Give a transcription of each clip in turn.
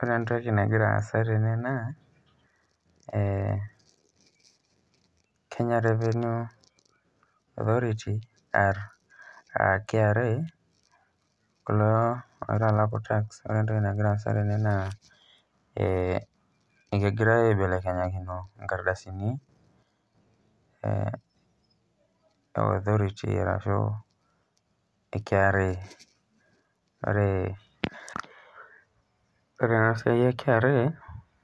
Ore entoki nagira aasa tene naa, Kenya revenue authority, ah KRA, kulo oitalaku tax ,ore entoki nagira aasa tene naa ekegira aibelekenyakino inkardasini, e authority arashu e KRA. Ore enasiai e KRA,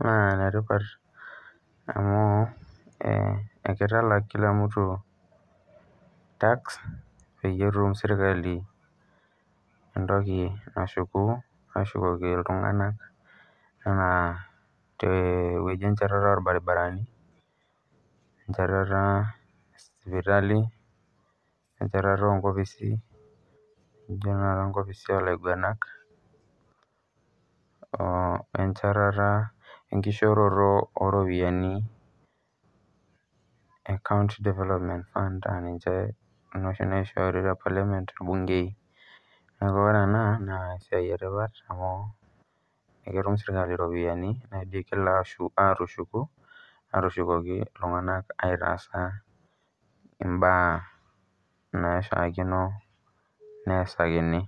naa enetipat amu, ekitalak kila mtu tax, peyie etum sirkali entoki nashuku ashukoki iltung'anak enaa tewueji enchatata orbaribarani, enchetara esipitali, enchetata onkopisi nijo tanakata nkopisi olaiguanak, wenchetata enkishooroto oropiyiani e county development fund, aninche inoshi naishori te parliament irbunkei. Neeku ore ena, naa esiai etipat amu eketum sirkali iropiyiani nigil atushuku, atushukoki iltung'anak aitaas taa imbaa naishaakino neesakini.